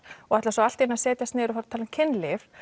og ætla svo allt í einu að setjast niður og tala um kynlíf